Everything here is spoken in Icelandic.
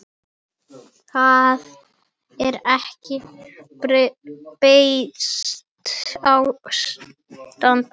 Það er ekki beysið ástand.